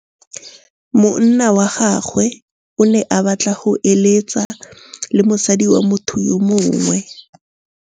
Monna wa gagwe o ne a batla go êlêtsa le mosadi wa motho yo mongwe.